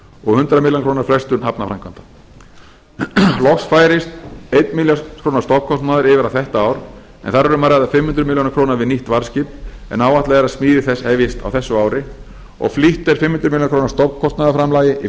og hundrað milljónir króna frestun hafnarframkvæmda loks færist þúsund milljónir króna stofnkostnaður yfir á þetta ár en þar er um að ræða fimm hundruð milljóna króna við nýtt varðskip en áætlað er að smíði þess hefjist á þessu ári og flýtt er fimm hundruð milljóna króna stofnkostnaðarframlagi í